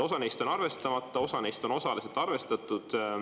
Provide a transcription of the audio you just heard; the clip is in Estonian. Osa neist on arvestamata, osa neist on osaliselt arvestatud.